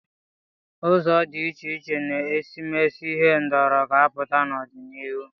Ụzọ dị iche iche na-esimesi ihendori ga-apụta n'ọdịnihu.